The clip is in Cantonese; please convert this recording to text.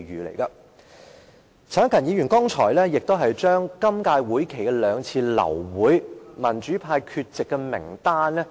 陳克勤議員剛才讀出今年會期兩次流會的民主派議員缺席名單。